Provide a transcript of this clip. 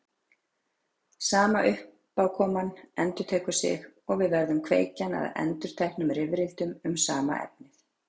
Sama uppákoman endurtekur sig og verður kveikjan að endurteknum rifrildum um sama efnið.